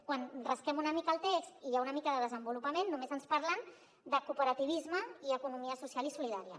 quan rasquem una mica el text i hi ha una mica de desenvolupament només ens parlen de cooperativisme i economia social i solidària